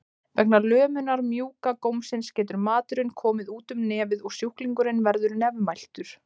Vegna lömunar mjúka gómsins getur maturinn komið út um nefið og sjúklingurinn verður nefmæltur.